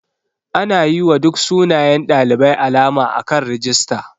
Ana yiwa duk sunayen ɗalibai alama akan rijista.